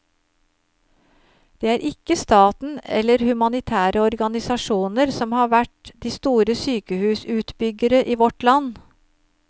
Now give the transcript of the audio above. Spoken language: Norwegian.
Det er ikke staten eller humanitære organisasjoner som har vært de store sykehusutbyggere i vårt land.